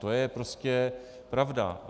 To je prostě pravda.